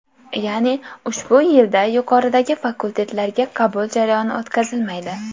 Ya’ni ushbu yilda yuqoridagi fakultetlarga qabul jarayoni o‘tkazilmaydi.